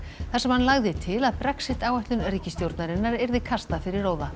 þar sem hann lagði til að Brexit áætlun ríkisstjórnarinnar yrði kastað fyrir róða